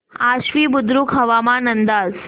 आश्वी बुद्रुक हवामान अंदाज